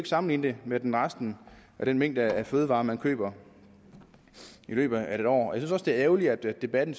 sammenlignes med med resten af den mængde fødevarer man køber i løbet af et år jeg synes også det er ærgerligt at debatten